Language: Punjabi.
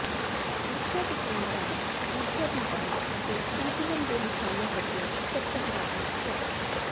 ਊਰਜਾ ਦੇ ਕੇਂਦਰਾਂ ਵਿੱਚ ਊਰਜਾ ਦੀ ਵੰਡ ਅਤੇ ਸੰਤੁਲਨ ਦੇ ਨਿਸ਼ਾਨੇ ਵਜੋਂ ਇਕੱਤਰਤਾ ਦੀ ਪ੍ਰਥਾ